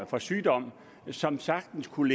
for sygdom som sagtens kunne